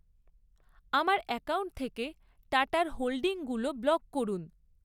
আমার অ্যাকাউন্ট থেকে টাটার হোল্ডিংগুলো ব্লক করুন।